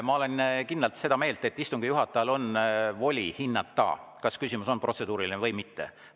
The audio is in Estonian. Ma olen kindlalt seda meelt, et istungi juhatajal on voli hinnata, kas küsimus on protseduuriline või mitte.